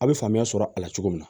A bɛ faamuya sɔrɔ a la cogo min na